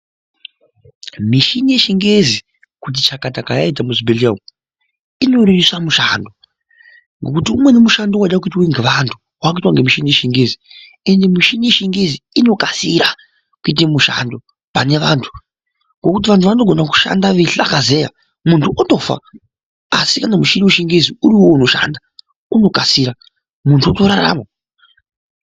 Mishini yechichengezi kuti chakata kwayaita muzvibhehleya umu inorerusa mushando. Ngokuti umweni mushando waida kuitwe ngevantu waakuitwa nemushini wechingingezi. Ende mushini yechingezi inokasira kuite mushando pane vantu. Ngokuti vanogona kushanda veihlakazeya muntu otofa asi kana mushini wechingezi uriwo unoshanda, unokasira muntu otorarama.